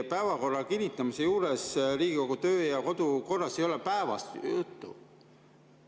Päevakorra kinnitamise juures ei ole Riigikogu töö‑ ja kodukorras päevast juttu.